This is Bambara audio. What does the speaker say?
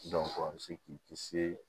a bɛ se k'i kisi